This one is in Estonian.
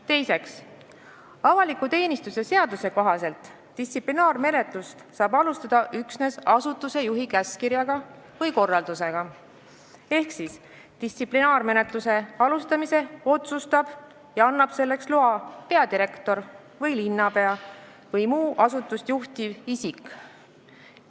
Teiseks, avaliku teenistuse seaduse kohaselt saab distsiplinaarmenetlust alustada üksnes asutuse juhi käskkirja või korraldusega ehk distsiplinaarmenetluse alustamise otsustab ja annab selleks loa peadirektor või linnapea või muu asutust juhtiv isik.